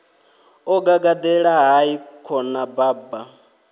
o gagaḓela hai khona baba